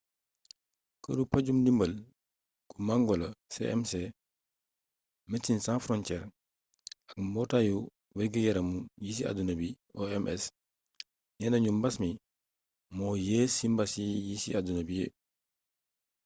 këru paju-ndimbal gu mangola cmc médecins sans frontières ak mbootaayu wérgi-yaramu ci àdduna bi oms neena ñu mbas mii moo yées ci mbas yi ci àdduna bi